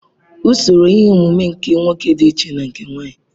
Usoro ihe ọmụmụ nke nwoke dị iche na nke nwanyị.